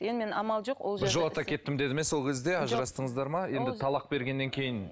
енді мен амал жоқ біржолата кетті ме сол кезде ажырастыңыздар ма енді талақ бергеннен кейін